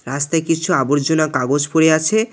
রাস্তায় কিছু আবর্জনা কাগজ পড়ে আছে।